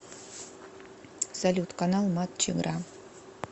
салют канал матч игра